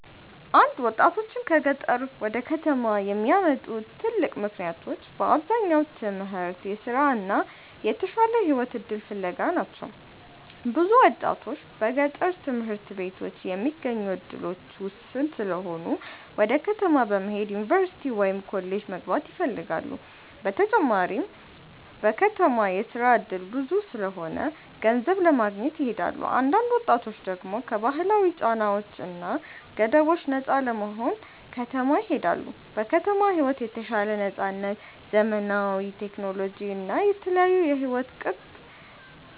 1ወጣቶችን ከገጠር ወደ ከተማ የሚያመጡ ትልቅ ምክንያቶች በአብዛኛው ትምህርት፣ ስራ እና የተሻለ የህይወት እድል ፍለጋ ናቸው። ብዙ ወጣቶች በገጠር ትምህርት ቤቶች የሚገኙ እድሎች ውስን ስለሆኑ ወደ ከተማ በመሄድ ዩኒቨርሲቲ ወይም ኮሌጅ መግባት ይፈልጋሉ። በተጨማሪም በከተማ የስራ እድል ብዙ ስለሆነ ገንዘብ ለማግኘት ይሄዳሉ። አንዳንድ ወጣቶች ደግሞ ከባህላዊ ጫናዎች እና ገደቦች ነፃ ለመሆን ወደ ከተማ ይሄዳሉ። በከተማ ሕይወት የተሻለ ነፃነት፣ ዘመናዊ ቴክኖሎጂ እና የተለያዩ የሕይወት ቅጥ